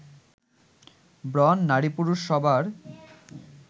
ব্রণ নারী-পুরুষ সবার